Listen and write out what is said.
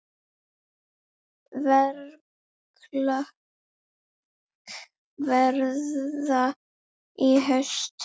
Verklok verða í haust.